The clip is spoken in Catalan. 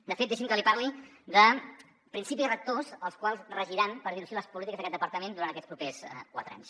de fet deixi’m que li parli de principis rectors els quals regiran per dir ho així les polítiques d’aquest departament durant aquests propers quatre anys